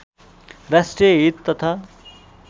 राष्ट्रिय हित तथा